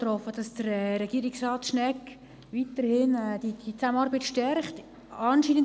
Ich hoffe, Regierungsrat Schnegg werde diese Zusammenarbeit weiterhin stärken.